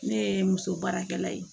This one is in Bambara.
Ne ye muso baarakɛla ye